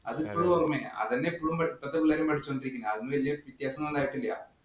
അത് ഇപ്പളും ഓര്‍മ്മയാ. അത് തന്നെയാ ഇപ്പളത്തെ പിള്ളേരും പഠിച്ചു കൊണ്ടിരിക്കുന്നത്. അതില് വല്യ വ്യത്യാസം ഒന്നും ഉണ്ടായിട്ടില്ല.